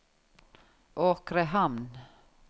Åkrehamn